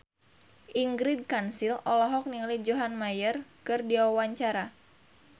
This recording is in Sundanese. Ingrid Kansil olohok ningali John Mayer keur diwawancara